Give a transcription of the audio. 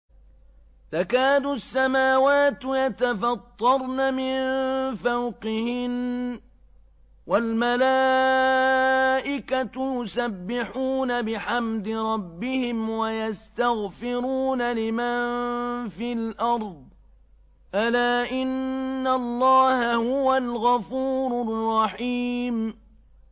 تَكَادُ السَّمَاوَاتُ يَتَفَطَّرْنَ مِن فَوْقِهِنَّ ۚ وَالْمَلَائِكَةُ يُسَبِّحُونَ بِحَمْدِ رَبِّهِمْ وَيَسْتَغْفِرُونَ لِمَن فِي الْأَرْضِ ۗ أَلَا إِنَّ اللَّهَ هُوَ الْغَفُورُ الرَّحِيمُ